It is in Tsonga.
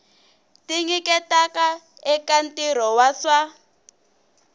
tinyiketaka eka ntirho wa swa